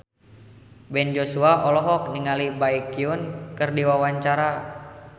Ben Joshua olohok ningali Baekhyun keur diwawancara